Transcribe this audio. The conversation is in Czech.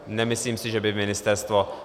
Nemyslím si, že by ministerstvo...